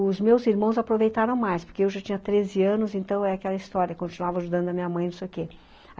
Os meus irmãos aproveitaram mais, porque eu já tinha treze anos, então é aquela história, eu continuava ajudando a minha mãe, não sei o quê.